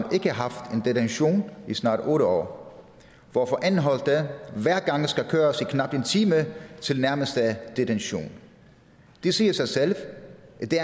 ikke haft en detention i snart otte år hvorfor anholdte hver gang skal køres i knap en time til nærmeste detention det siger sig selv